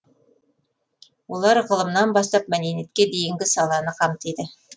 олар ғылымнан бастап мәдениетке дейінгі саланы қамтиды